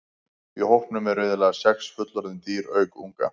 Í hópnum eru iðulega sex fullorðin dýr auk unga.